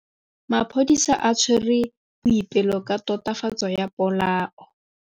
Maphodisa a tshwere Boipelo ka tatofatsô ya polaô.